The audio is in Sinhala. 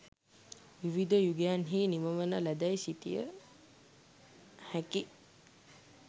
විවිධ යුගයන්හි නිමවන ලදැයි සිතිය හැකි